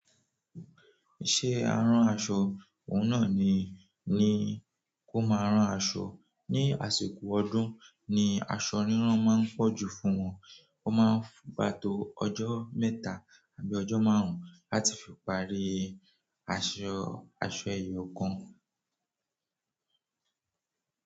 Iṣẹ́ arán aṣọ, òun náà ni, ni kó máa rán aṣọ. Ni àsìkò ọdún ni aṣọ rírán máa ń pọ̀ jù fún wọn. Wọ́n máa ń gbà to ọjọ́ mẹ́ta àbí ọjọ́ márùn-ún láti fi parí aṣọ, aṣọ ẹyọ kan.